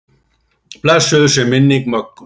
Blessuð sé minning Möggu.